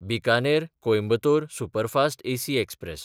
बिकानेर–कोयंबतोर superfast AC express